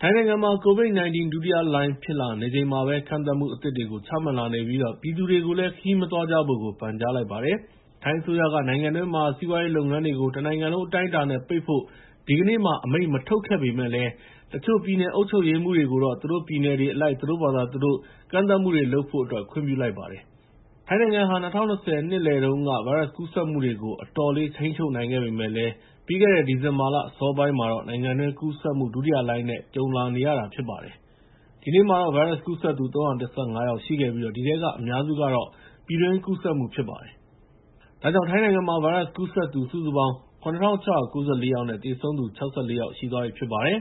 ထိုင်းနိုင်ငံမှာ COVID-19 ဒုတိယလှိုင်း ဖြစ်လာနေချိန်မှာပဲ ကန့်သတ်မှုအသစ်တွေ ချမှတ်လာနေပြီး ပြည်သူတွေကိုလည်း ခရီးမသွားကြဖို့ ပန်ကြားလိုက်ပါတယ်။ ထိုင်းအစိုးရက နိုင်ငံတွင်းမှာရှိတဲ့ စီးပွားရေးလုပ်ငန်းတွေကို တနိုင်ငံလုံး အတိုင်းအတာနဲ့ ပိတ်ဖို့ ဒီကနေ့မှာ အမိန့်မထုတ်ခဲ့ပေမယ့်လည်း တချို့ ပြည်နယ်အုပ်ချုပ်ရေးမှူးတွေကိုတော့ သူတို့ပြည်နယ်တွေအလိုက် သူတို့ဘာသာ သူတို့ ကန့်သတ်မှုတွေ လုပ်ဖို့အတွက် ခွင့်ပြုလိုက်ပါတယ်။ ထိုင်းနိုင်ငံ ၂၀၂၀ ခုနှစ် နှစ်လယ်တုန်းက ဗိုင်းရပ်စ်ကူးစက်မှုတွေကို အတော်လေး ထိန်းချုပ်နိုင်ခဲ့ပေမယ့်လည်း ပြီးခဲ့တဲ့ ဒီဇင်ဘာလ အစောပိုင်းမှာတော့ နိုင်ငံတွင်း ကူးစက်မှု ဒုတိယလှိုင်းနဲ့ ကြုံလာနေရတာ ဖြစ်ပါတယ်။ ဒီနေ့မှာတော့ ဗိုင်းရပ်စ်ကူးစက်သူ ၃၁၅ ယောက်ရှိခဲ့ပြီး အဲဒီထဲက အများစုကတော့ ပြည်တွင်းကူးစက်မှု ဖြစ်ပါတယ်။ ဒါကြောင့် ထိုင်းနိုင်ငံမှာ ဗိုင်းရပ်စ်ကူးစက်သူ စုစုပေါင်း ၇,၆၉၄ ယောက်နဲ့ သေဆုံးသူ ၆၄ ယောက်ရှိပါတယ်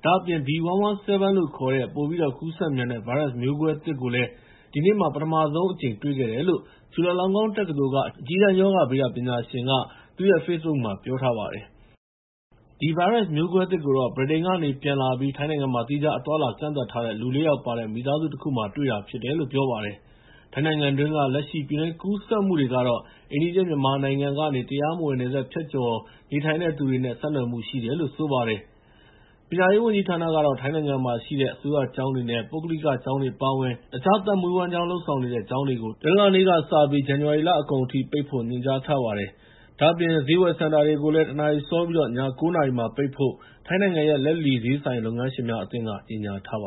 ။ ဒါ့အပြင် B.1.1.7 လို့ခေါ်တဲ့ ပိုပြီးတော့ ကူးစက်မြန်တဲ့ ဗိုင်းရပ်စ်မျိုးကွဲသစ်ကိုလည်း ဒီနေ့မှာ ပထမဆုံးအကြိမ် တွေ့ခဲ့တယ်လို့ ချူလာလောင်းကွန်းတက္ကသိုလ်က အကြီးတန်း ရောဂါဗေဒပညာရှင် Yong Poovorawan က Facebook မှာ ပြောထားပါတယ်။ အဲဒီ ဗိုင်းရပ်စ်မျိုးကွဲသစ်ကို ဗြိတိန်ကနေ ပြန်လာပြီး ထိုင်းနိုင်ငံမှာ သီးခြား အသွားအလာ ကန့်သတ်ထားတဲ့ လူ ၄ ယောက်ပါတဲ့ မိသားစုတခုမှာ တွေ့တာဖြစ်တယ်လို့ ပြောပါတယ်။ ထိုင်းနိုင်ငံတွင်းက လက်ရှိ ပြည်တွင်းကူးစက်မှုတွေကတော့ အိမ်နီးချင်း မြန်မာနိုင်ငံက တရားမဝင် နယ်စပ်ဖြတ်ကျော် နေထိုင်တဲ့သူတွေနဲ့ ဆက်နွှယ်မှုရှိတယ်လို့ ဆိုပါတယ်။ ပညာရေးဝန်ကြီးဌာနကတော့ ထိုင်းနိုင်ငံမှာရှိတဲ့ အစိုးရကျောင်းတွေ၊ ပုဂ္ဂလိကကျောင်းတွေ အပါအဝင် တခြား သက်မွေးဝမ်းကျောင်းနဲ့ဆိုင်တဲ့ ကျောင်းတွေကို တနင်္လာနေ့က ဇန်နဝါရီလအကုန်ထိ ပိတ်ဖို့ ညွှန်ကြားထားပါတယ်။ ဒါ့အပြင် ဈေးဝယ်စင်တာတွေကို တနာရီစောပြီး ည ၉ နာရီမှာ ပိတ်ဖို့ ထိုင်းနိုင်ငံရဲ့ လက်လီဈေးဆိုင်လုပ်ငန်းရှင်များအသင်းက ကြေညာထားပါ